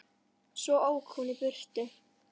Svo ók hún í burtu.